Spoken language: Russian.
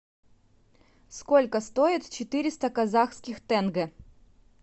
сколько стоит четыреста казахских тенге